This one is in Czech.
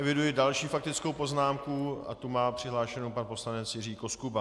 Eviduji další faktickou poznámku a tu má přihlášenou pan poslanec Jiří Koskuba.